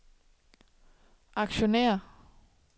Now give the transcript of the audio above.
aktionærer